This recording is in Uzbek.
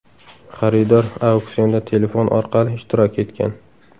Xaridor auksionda telefon orqali ishtirok etgan.